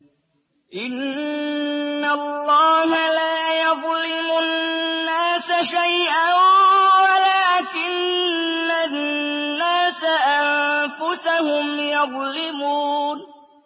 إِنَّ اللَّهَ لَا يَظْلِمُ النَّاسَ شَيْئًا وَلَٰكِنَّ النَّاسَ أَنفُسَهُمْ يَظْلِمُونَ